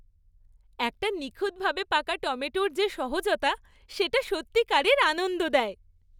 একটা নিখুঁতভাবে পাকা টমেটোর যে সহজতা, সেটা সত্যিকারের আনন্দ দেয়।